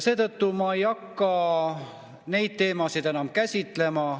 Seetõttu ma ei hakka neid teemasid käsitlema.